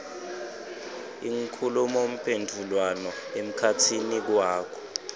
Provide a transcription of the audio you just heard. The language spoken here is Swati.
inkhulumomphendvulwano emkhatsini wakho